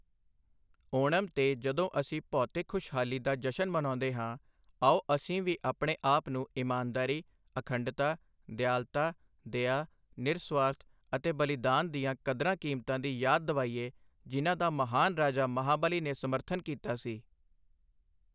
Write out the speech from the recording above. ਓਣਮ ਤੇ ਜਦੋਂ ਅਸੀਂ ਭੌਤਿਕ ਖੁਸ਼ਹਾਲੀ ਦਾ ਜਸ਼ਨ ਮਨਾਉਂਦੇ ਹਾਂ, ਆਓ ਅਸੀਂ ਵੀ ਆਪਣੇ ਆਪ ਨੂੰ ਇਮਾਨਦਾਰੀ, ਅਖੰਡਤਾ, ਦਿਆਲਤਾ, ਦਇਆ, ਨਿਰਸੁਆਰਥ ਅਤੇ ਬਲੀਦਾਨ ਦੀਆਂ ਕਦਰਾਂ ਕੀਮਤਾਂ ਦੀ ਯਾਦ ਦਿਵਾਈਏ ਜਿਨ੍ਹਾਂ ਦਾ ਮਹਾਨ ਰਾਜਾ ਮਹਾਬਲੀ ਨੇ ਸਮਰਥਨ ਕੀਤਾ ਸੀ।